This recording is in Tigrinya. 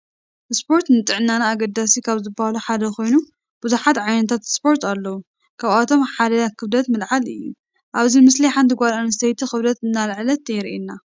ስፖርት ንጥዕናና አገደስቲ ካብ ዝበሃሉ ሓደ ኮይኑ ብዝሓት ዓይነታት ስፖርት አለው ካብአቶም ሓደ ክብደት ምልዓል እዩ ።አብዚ ምስሊ ሓንቲ ጋል አንስተይቲ ክብደት እናልዐለት የሪእየና።